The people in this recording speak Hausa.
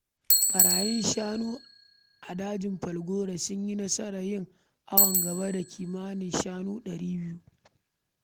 Ɓarayin shanu a dajin Falgore sun yi nasarar yin awon gaba da kimanin shanu ɗari biyu.